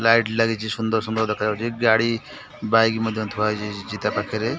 Light ଲାଗିଚି ସୁନ୍ଦର ସୁନ୍ଦର ଦେଖାଯାଉଚି ଗାଡ଼ି ବାଇକ ମଧ୍ୟ ଥୁଆ ହେଇଛି ଜି ତା ପାଖରେ।